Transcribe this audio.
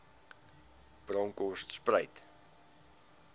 bronkhortspruit